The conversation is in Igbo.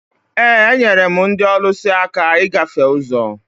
ee, enyere m ndị ọlụsị aka ịgafe ụzọ